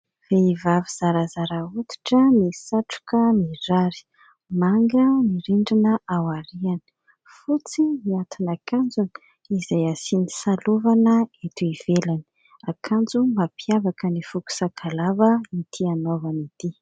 Vehivavy zarazara hoditra, misatroka mirary, manga ny rindrina ao aorinany, fotsy ny atin'akanjony izay asiany salovana eto ivelany, akanjo mampiavaka ny foko sakalava ity anaovan'ity.